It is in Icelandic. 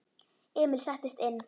Emil settist inn.